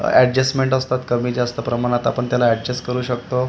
adjustments असतात कमी जास्त प्रमाणात आपण त्याला एडजस्ट करू शकतो र --